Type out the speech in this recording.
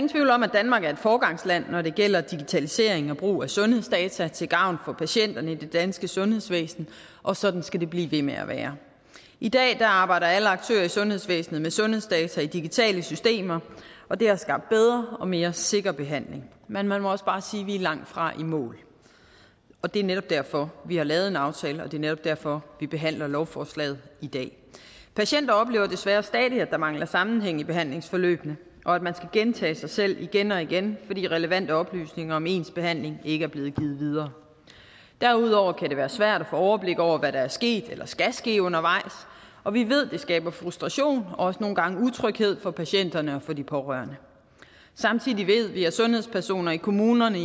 danmark er et foregangsland når det gælder digitalisering og brug af sundhedsdata til gavn for patienterne i det danske sundhedsvæsen og sådan skal det blive ved med at være i dag arbejder alle aktører i sundhedsvæsenet med sundhedsdata i digitale systemer og det har skabt en bedre og mere sikker behandling men man må også bare sige at vi langtfra er i mål det er netop derfor vi har lavet en aftale og det er netop derfor vi behandler lovforslaget i dag patienter oplever desværre stadig at der mangler sammenhæng i behandlingsforløbene og at man skal gentage sig selv igen og igen fordi relevante oplysninger om ens behandling ikke er blevet givet videre derudover kan det være svært at få overblik over hvad der er sket eller skal ske undervejs og vi ved at det skaber frustration og også nogle gange utryghed for patienterne og for de pårørende samtidig ved vi at sundhedspersoner i kommunerne